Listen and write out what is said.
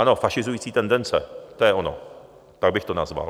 Ano, fašizující tendence, to je ono, tak bych to nazval.